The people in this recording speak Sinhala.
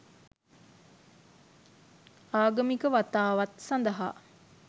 ආගමික වතාවත් සඳහා